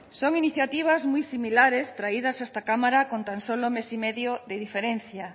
son iniciativas muy similares traídas a esta cámara con tan solo mes y medio de diferencia